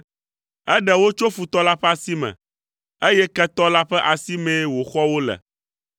Eɖe wo tso futɔ la ƒe asi me, eye ketɔ la ƒe asimee wòxɔ wo le.